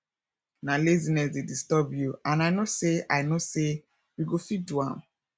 na laziness dey disturb you and i know say i know say you go fit do am